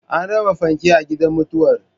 An raba fanke a gidan mutuwar